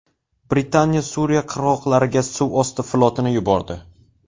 Britaniya Suriya qirg‘oqlariga suvosti flotini yubordi.